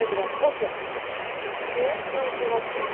Hökm edirəm, otur! deyə kral cavab verdi.